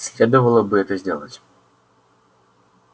следовало бы это сделать